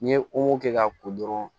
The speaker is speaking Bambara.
N'i ye kɛ k'a ko dɔrɔn